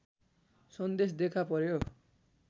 सन्देश देखा पर्‍यो